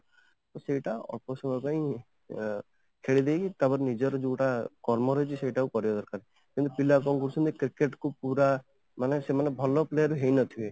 ସେଇଟା ଅପସମୟ ପାଇଁ ଅଂ ଖେଳିଦେଇକି ତାପରେ ନିଜର ଯୋଉଟା କର୍ମ ରହୁଛି ସେଇଟା କରିବା ଦରକାର କିନ୍ତୁ ପିଲା କ'ଣ କରୁଛନ୍ତି cricket କୁ ପୁରା ମାନେ ସେମାନେ ଭଲ player ହେଇନଥିବେ